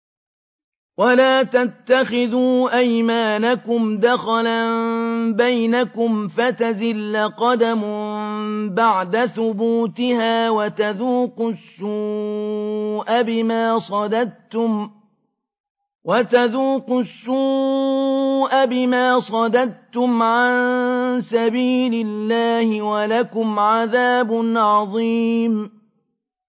وَلَا تَتَّخِذُوا أَيْمَانَكُمْ دَخَلًا بَيْنَكُمْ فَتَزِلَّ قَدَمٌ بَعْدَ ثُبُوتِهَا وَتَذُوقُوا السُّوءَ بِمَا صَدَدتُّمْ عَن سَبِيلِ اللَّهِ ۖ وَلَكُمْ عَذَابٌ عَظِيمٌ